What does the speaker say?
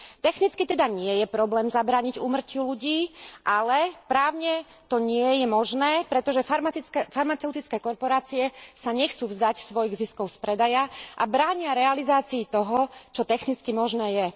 Technicky teda nie je problém zabrániť úmrtiu ľudí, ale právne to nie je možné, pretože farmaceutické korporácie sa nechcú vzdať svojich ziskov z predaja a bránia realizácii toho, čo technicky možné je.